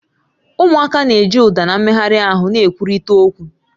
Ụmụaka na-eji ụda na mmegharị ahụ na-ekwurịta okwu